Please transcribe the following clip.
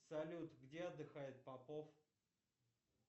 салют где отдыхает попов